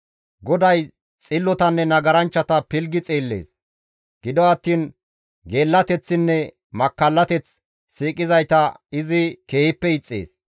GODAY xillotanne nagaranchchata pilggi xeellees. Gido attiin geellateththinne makkallateth siiqizayta izi keehippe ixxees.